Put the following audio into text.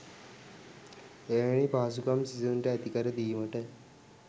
එවැනි පහසුකම් සිසුන්ට ඇති කර දීමට